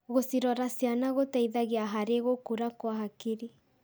Gũcirora ciana gũteithagia harĩ gũkũra kwa hakiri.